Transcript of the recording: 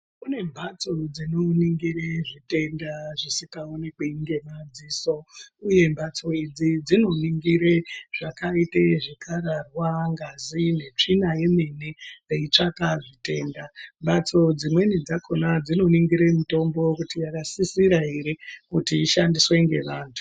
Kune mbatso dzino ningire zvitenda zvisinga onekwi nge madziso uye mbatso idzi dzino ningire zvakaite zvi karahwa ngazi ne tsvina yemene zvei tsvaka zvitenda mhatso dzimweni dzakona dzino ningira mitombo kuti yaka sisira ere kuti ishandiswe nge antu.